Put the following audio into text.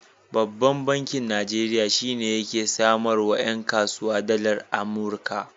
Babban bankin Najeriya shi yake samarwa 'yan kasuwa dalar Amurika.